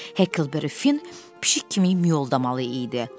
Hekelberry Fin pişik kimi miyoldamalı idi.